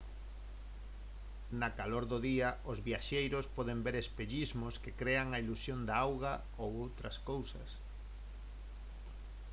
na calor do día os viaxeiros poden ver espellismos que crean a ilusión de auga ou outras cousas